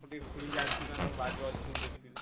ଗୋଟେ ଖୋଳିକି ଆଣିଥିବୁନା ତମ ବାଡିରେ ଅଛି ମୁଁ ଦେଖିଥିଲି।